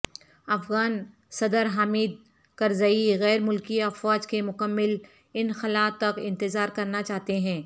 افغان صدر حامد کرزئی غیر ملکی افواج کے مکمل انخلاء تک انتظار کرنا چاہتے ہیں